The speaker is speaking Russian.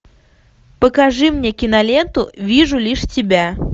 покажи мне киноленту вижу лишь тебя